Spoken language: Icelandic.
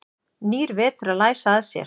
Nýr vetur að læsa að sér.